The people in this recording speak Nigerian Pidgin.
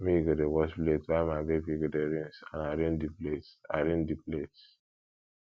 me go dey wash plate while my baby go dey rinse and arrange di plates arrange di plates